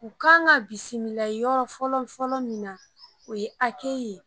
U kan ka bisimila yɔrɔ fɔlɔ fɔlɔ min na o ye ye